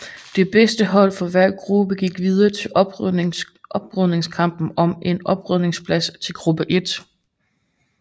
Det bedste hold fra hver gruppe gik videre til oprykningskampen om en oprykningsplads til gruppe 1